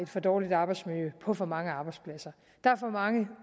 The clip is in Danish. for dårligt arbejdsmiljø på for mange arbejdspladser der er for mange